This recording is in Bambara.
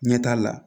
Ɲɛ t'a la